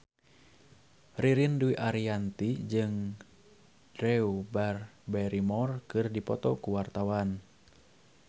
Ririn Dwi Ariyanti jeung Drew Barrymore keur dipoto ku wartawan